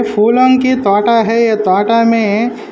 फूलोंकी ताटा है ताटा मे --